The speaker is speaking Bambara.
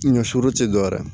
Ɲɔ suru ti dɔwɛrɛ ye